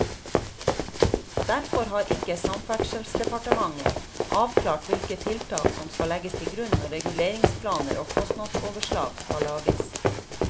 Derfor har ikke samferdselsdepartementet avklart hvilke tiltak som skal legges til grunn når reguleringsplaner og kostnadsoverslag skal lages.